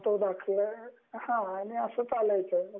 मग तो दाखला मिळणार आणि अस चालयच